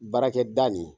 Baarakɛ da nin